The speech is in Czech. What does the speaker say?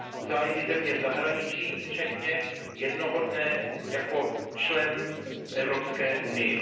zájmy země v zahraničí včetně, jednoho dne, jako člen v Evropské unii.